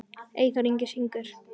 Eyþór Ingi syngur.